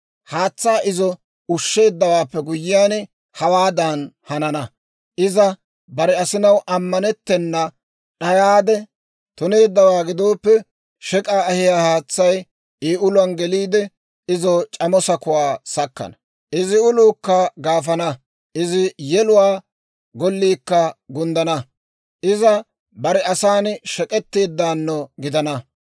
Haatsaa izo ushsheeddawaappe guyyiyaan, hawaadan hanana: iza bare asinaw ammanettana d'ayaade tuneeddawaa gidooppe, shek'k'aa ahiyaa haatsay I uluwaan geliide, izo c'amo sakuwaa sakkana; izi uluukka gaafana; izi yeluwaa golliikka gunddana. Iza bare asan shek'k'etteedaano gidana.